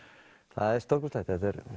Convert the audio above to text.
það er stórkostlegt